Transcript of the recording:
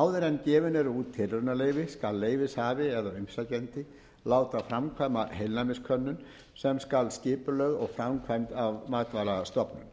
áður en gefin eru út tilraunaleyfi skal leyfishafi eða umsækjandi láta framkvæma heilnæmiskönnun sem skal skipulögð og framkvæmd og skipulögð af matvælastofnun